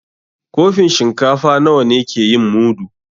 Kofin shinkafa nawa ne ke yin mudu?